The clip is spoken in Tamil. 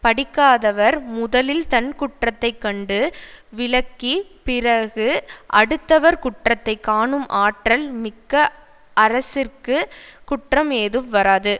படிக்காதவர் முதலில் தன் குற்றத்தை கண்டு விலக்கிப் பிறகு அடுத்தவர் குற்றத்தை காணும் ஆற்றல் மிக்க அரசிற்கு குற்றம் ஏதும் வராது